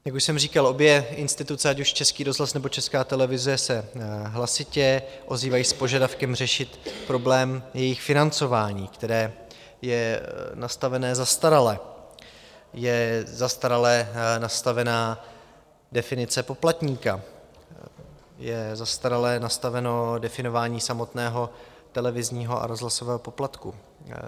Jak už jsem říkal, obě instituce, ať už Český rozhlas, nebo Česká televize, se hlasitě ozývají s požadavkem řešit problém jejich financování, které je nastavené zastarale, je zastarale nastavená definice poplatníka, je zastarale nastaveno definování samotného televizního a rozhlasového poplatku.